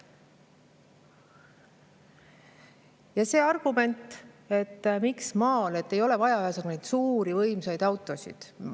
Ja see argument, et maal ei ole vaja suuri võimsaid autosid.